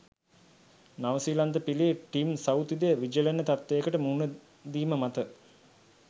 නවසීලන්ත පිලේ ටිම් සවුතිද විජලන තත්ත්වයකට මුහුණ දීම මත